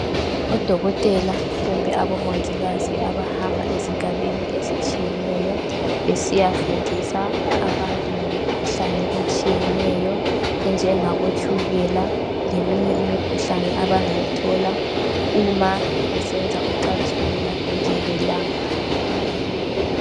Odokotela kumbe abomongikazi abahamba ezigabeni ezitshiyeneyo besiya fundisa abantu ngemikhuhlane etshiyeneyo enjengabo tshukela leminye imikhuhlane abangayithola uma besenza ucansi olungavikelekanga.